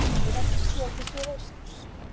breiðavík séð til suðausturs